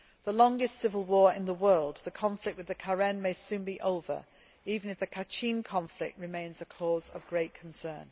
The longest civil war in the world the conflict with the Karen may soon be over, even if the Kachin conflict remains a cause of great concern.